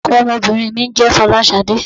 Orúkọ ọmọbìnrin mi ń jẹ́ "Folasade".